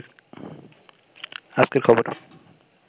আজকেরখবর